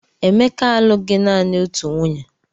Emeka alụghị naanị otu nwunye